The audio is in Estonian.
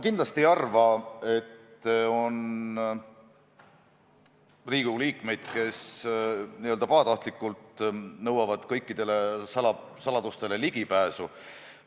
Kindlasti ma ei arva, et on Riigikogu liikmeid, kes pahatahtlikkusest nõuaksid kõikidele saladustele ligipääsu.